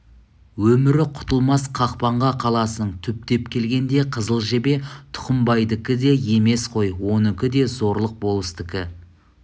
өмірі құтылмас қақпанға қаласың түптеп келгенде қызыл жебе тұқымбайдікі де емес қой оныкі де зорлық болыстікі